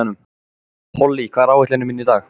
Polly, hvað er á áætluninni minni í dag?